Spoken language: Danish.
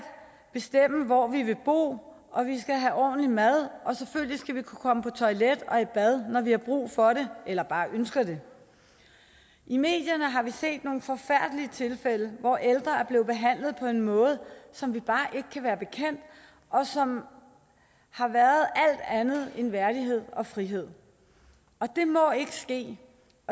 bestemme hvor vi vil bo og vi skal have ordentlig mad og selvfølgelig skal vi kunne komme på toilettet og i bad når vi har brug for det eller bare ønsker det i medierne har vi set nogle forfærdelige tilfælde hvor ældre er blevet behandlet på en måde som vi bare ikke kan være bekendt og som har været alt andet end værdighed og frihed det må ikke ske